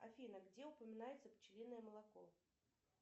афина где упоминается пчелиное молоко